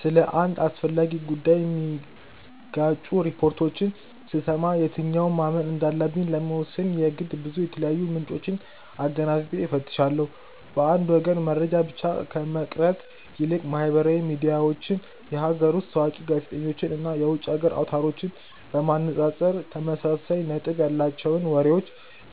ስለ አንድ አስፈላጊ ጉዳይ የሚጋጩ ሪፖርቶችን ስሰማ የትኛውን ማመን እንዳለብኝ ለመወሰን የግድ ብዙ የተለያዩ ምንጮችን አገናዝቤ እፈትሻለሁ። በአንድ ወገን መረጃ ብቻ ከመቅረት ይልቅ ማህበራዊ ሚዲያዎችን፣ የሀገር ውስጥ ታዋቂ ጋዜጠኞችን እና የውጭ የዜና አውታሮችን በማነጻጸር ተመሳሳይ ነጥብ ያላቸውን መረጃዎች